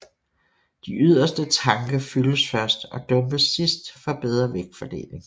De yderste tanke fyldes først og dumpes sidst for bedre vægtfordeling